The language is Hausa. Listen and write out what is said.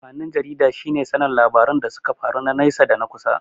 Amfanin jarida shine sanin labaran da suka faru na naisa da na kusa.